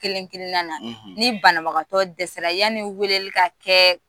Kelen kelen na na ni banabagatɔ dɛsɛ yani weleli ka kɛ